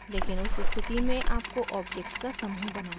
लेकिन उस स्थिति में आपको objects का समूह बनाना चाहिए